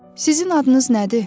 Sizin adınız nədir?